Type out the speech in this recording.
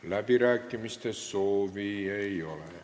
Läbirääkimiste soovi ei ole.